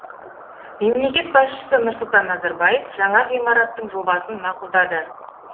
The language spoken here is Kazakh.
мемлекет басшысы нұрсұлтан назарбаев жаңа ғимараттың жобасын мақұлдады